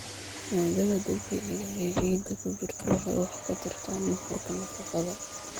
Maaddada dabiiciga ah ee ciidda ku jirta waxay wax ka tarta nuxurka nafaqada.